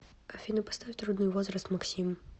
афина поставь трудный возраст максим